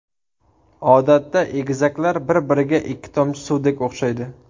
Odatda, egizaklar bir-biriga ikki tomchi suvdek o‘xshaydi.